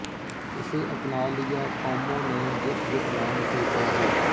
ਇਸੇ ਅਪਣਾ ਲਿਆ ਕੌਮੋਂ ਨੇ ਜਿਸ ਜਿਸ ਨਾਮ ਸੇ ਚਾਹਾ